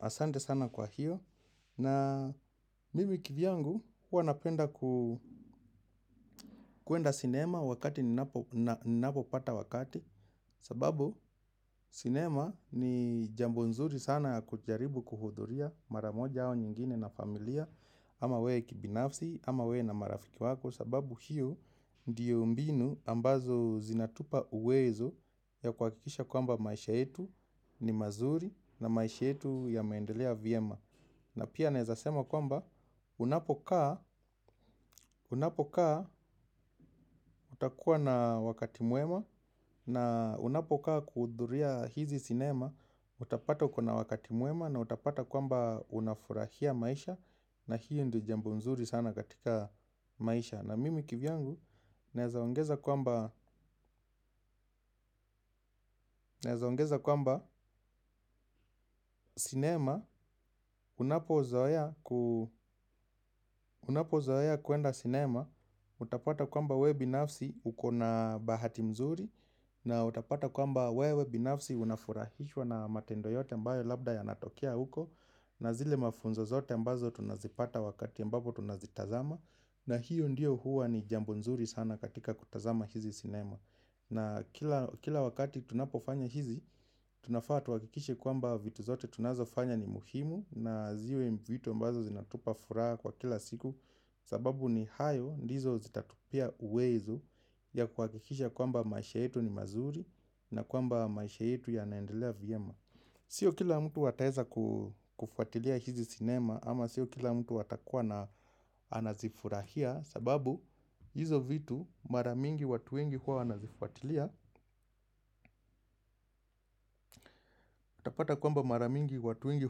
Asante sana kwa hiyo na mimi kivyangu huwa napenda kuenda sinema wakati ninapo pata wakati. Sababu sinema ni jambo nzuri sana ya kujaribu kuhudhuria maramoja au nyingine na familia. Ama wewe kibinafsi ama wewe na marafiki wako sababu hiyo ndiyo mbinu ambazo zinatupa uwezo ya kuhakikisha kwamba maisha yetu ni mazuri na maisha yetu yameendelea vyema. Na pia naweza sema kwamba unapokaa, unapokaa utakuwa na wakati mwema na unapokaa kuhudhuria hizi sinema, utapata uko na wakati mwema na utapata kwamba unafurahia maisha na hiyo ndiyo jambo mzuri sana katika maisha. Na mimi kivyangu, naweza ongeza kwamba naweza ongeza kwamba cinema, unapozoea kuenda cinema, utapata kwamba wewe binafsi uko na bahati mzuri, na utapata kwamba wewe binafsi unafurahishwa na matendo yote ambayo labda yanatokea huko, na zile mafunzo zote ambazo tunazipata wakati ambapo tunazitazama, na hiyo ndiyo huwa ni jambo mzuri sana katika kutazama hizi cinema. Na kila wakati tunapofanya hizi, tunafaa tuhakikishe kwamba vitu zote tunazo fanya ni muhimu na ziwe vitu ambazo zinatupa furaha kwa kila siku. Sababu ni hayo ndizo zitatupea uwezo ya kuhakikisha kwamba maisha yetu ni mazuri na kwamba maisha yetu yanaendelea vyema. Sio kila mtu ataweza kufuatilia hizi sinema ama sio kila mtu atakuwa na anazifurahia sababu hizo vitu mara nyingi watu wengi huwa wanazifuatilia utapata kwamba mara mingi watu wengi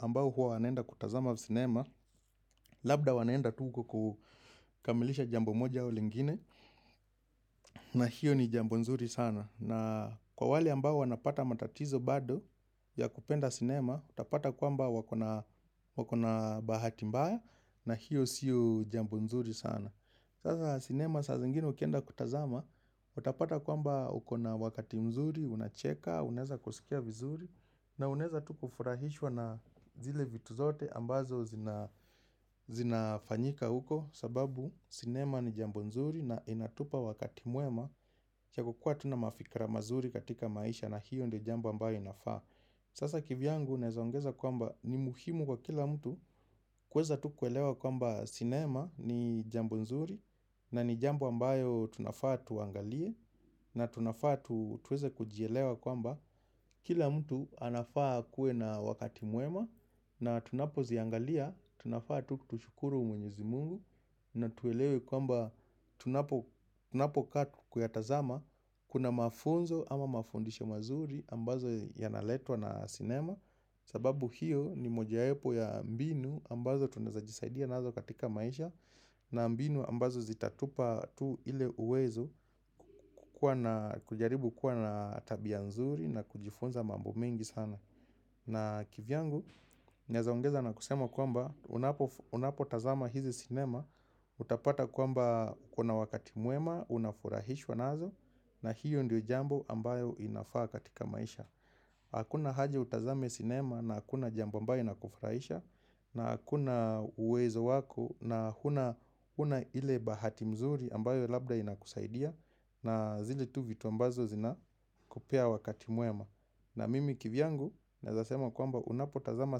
ambao huwa wanaenda kutazama sinema labda wanaenda tu huko kukamilisha jambo moja au lingine na hiyo ni jambo nzuri sana na kwa wale ambao wanapata matatizo bado ya kupenda sinema utapata kwamba wako na bahati bahati mbaya na hiyo sio jambo nzuri sana sasa sinema saa zingine ukienda kutazama utapata kwamba uko na wakati mzuri, unacheka, unaweza kusikia vizuri. Na unaweza tu kufurahishwa na zile vitu zote ambazo zinafanyika huko. Sababu sinema ni jambo mzuri na inatupa wakati mwema ta kukuwa tuna mafikra mazuri katika maisha na hiyo ndiyo jambo ambayo inafaa. Sasa kivyangu naweza ongeza kwamba ni muhimu kwa kila mtu kuweza tu kuelewa kwamba sinema ni jambo mzuri na ni jambo ambayo tunafaa tuangalie na tunafaa tuweze kujielewa kwamba kila mtu anafaa akuwe na wakati mwema na tunapo ziangalia, tunafaa tu tushukuru mwenyezi mungu na tuelewe kwamba tunapokaa tu kuyatazama kuna mafunzo ama mafundisho mazuri ambazo yanaletwa na sinema sababu hiyo ni moja wapo ya mbinu ambazo tunaweza jisaidia nazo katika maisha na mbinu ambazo zitatupa tu ile uwezo kujaribu kuwa na tabia nzuri na kujifunza mambo mengi sana. Na kivyangu, naweza ongeza na kusema kwamba unapo tazama hizi sinema, utapata kwamba kuna wakati mwema, unafurahishwa nazo, na hiyo ndiyo jambo ambayo inafaa katika maisha. Hakuna haja utazame sinema na hakuna jambo ambayo inakufurahisha, na hakuna uwezo wako na huna huna ile bahati mzuri ambayo labda inakusaidia na zile tu vitu ambazo zina kupea wakati mwema na mimi kivyangu naweza sema kwamba unapotazama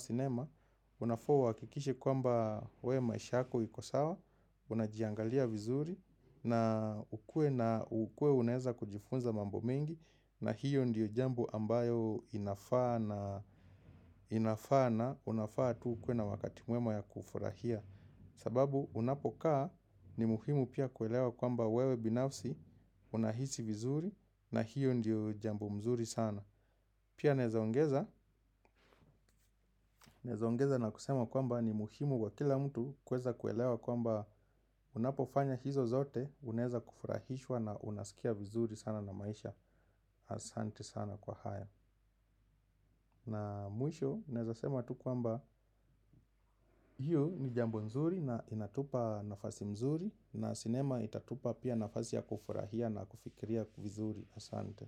sinema unafaa uhakikishe kwamba wewe maisha yako iko sawa unajiangalia vizuri na ukuwe unaweza kujifunza mambo mengi. Na hiyo ndiyo jambo ambayo inafaa na unafaa tu ukuwe na wakati mwema ya kufurahia sababu unapokaa ni muhimu pia kuelewa kwamba wewe binafsi unahisi vizuri na hiyo ndiyo jambo mzuri sana. Pia naweza ongeza na kusema kwamba ni muhimu kwa kila mtu kuweza kuelewa kwamba unapofanya hizo zote. Unaweza kufurahishwa na unasikia vizuri sana na maisha asanti sana kwa haya. Na mwisho naweza sema tu kwamba hiyo ni jambo mzuri na inatupa nafasi mzuri na sinema itatupa pia nafasi ya kufurahia na kufikiria vizuri asante.